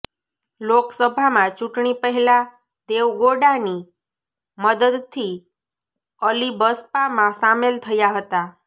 લોકસભામાં ચૂંટણી પહેલા દેવગૌડાની મદદથી અલી બસપામાં સામેલ થયા હતા